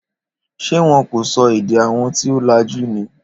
Ṣé wọn kò sọ èdè àwọn tí o lajú ni?